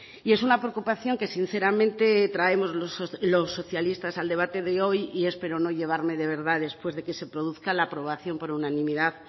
y es una preocupación que sinceramente traemos los socialistas al debate de hoy y espero no llevarme de verdad después de que se produzca la aprobación por unanimidad